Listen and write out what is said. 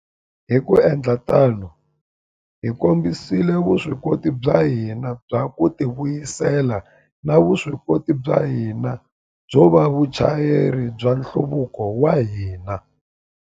Hi ku endla tano, hi kombisile vuswikoti bya hina bya ku tivuyisela na vuswikoti bya hina byo va vachayeri va nhluvuko wa hina.